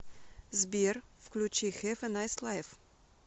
сбер включи хэв э найс лайф